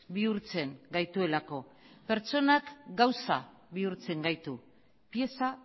bihurtzen gaituelako pertsonak gauza bihurtzen gaitu pieza